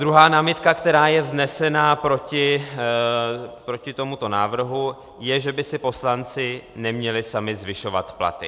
Druhá námitka, která je vznesena proti tomuto návrhu, je, že by si poslanci neměli sami zvyšovat platy.